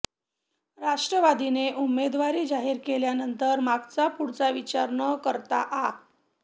राष्ट्रवादीने उमेदवारी जाहीर केल्यानंतर मागचा पुढचा विचार न करता आ